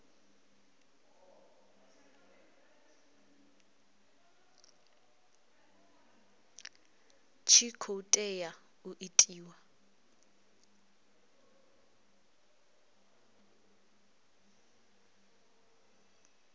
tshi khou tea u itiwa